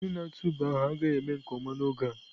Onye na-atụ ube ahụ agaghị eme nke ọma n'oge a.